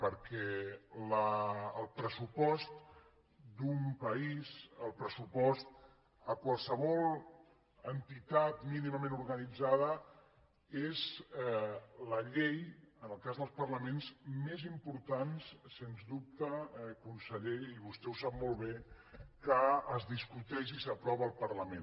perquè el pressupost d’un país el pressupost a qualsevol entitat mínimament organitzada és la llei en el cas dels parlaments més important sens dubte conseller i vostè ho sap molt bé que es discuteix i s’aprova el parlament